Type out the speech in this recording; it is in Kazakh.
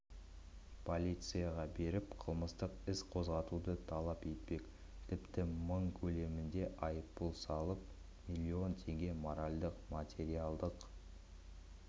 полицияға беріп қылмыстық іс қозғатуды талап етпек тіпті мың көлемінде айыппұл салып миллилон теңге моральдық-материалдық